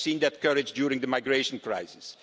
We have seen that courage during the migration crisis.